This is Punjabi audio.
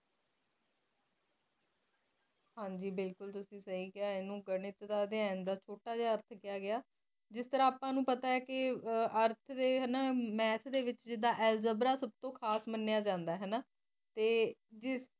ਹਨ ਜੀ ਬਿਲਕੁਲ ਤੁਸੀਂ ਸਹੀ ਕਿਹਾ ਇਹਨੂੰ ਗਣਿਤ ਨੂੰ ਅਧਿਐਨ ਨੂੰ ਛੋਟਾ ਜਿਹਾ ਜਿਸ ਤਰਾ ਆਪਾ ਨੂੰ ਪਤਾ ਏ ਕੇ ਅਰਥ ਦੇ ਵਿੱਚ ਜਿਦਾ ਐਲਜੈਬਰਾ ਸਭ ਤੋ ਖਾਸ ਮੰਨਿਆ ਜਾਂਦਾ ਹਨਾ